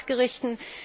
Fachgerichten.